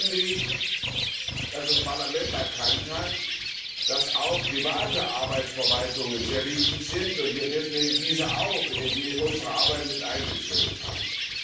Zweitens finde ich, dass das Parlament erkannt hat, dass auch private Arbeitsverwaltungen sehr wichtig sind und wir deswegen diese auch in unsere Arbeiten mit einbezogen haben.